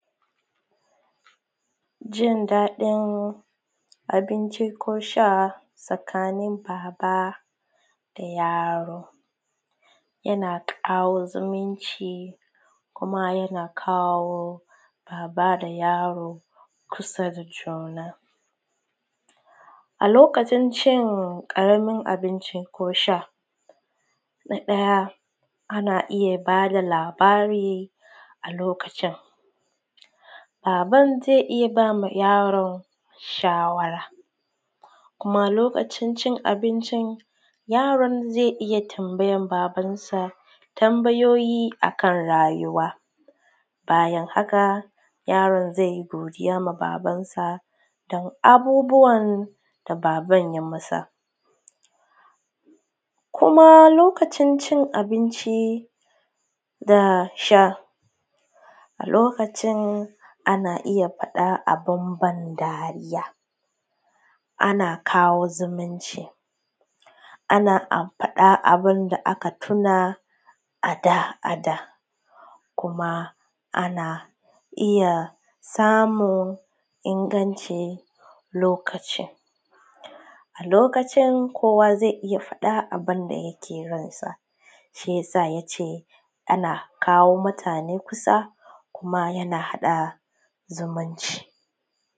jin dadin abinci ko sha tsakanin babba da yaɽo yana kawo zumunci kuma yana kawo babba da yaro kusa da juna a lokacin cin karamin abinci ko sha na daya ana iyya bada labari a lokacin babban zai iyya bama yaron shawara kuma lokacin cin abincin yaron zai iyya tambayan babban sa tambayoyi akan rayuwa bayan haka yaron zai godiya ma babansa dan abubuwan da baban yayi masa kuma lokacin abinci da sha a lokacin ana iyya fadan abun ban dariya ana kawo zumunci ana kawo abunda aka tuna ada kuma anna iyya samun ingancin lokaci a lokacin kowa zai iyya fadan abunda yake ransa shiyasa yace ana kawo mutane kusa kuma ana hada zumunci